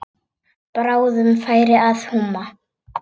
Bráðum færi að húma.